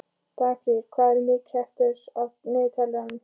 Dagfríður, hvað er mikið eftir af niðurteljaranum?